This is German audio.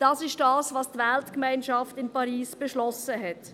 Das ist es, was die Weltgemeinschaft in Paris beschlossen hat.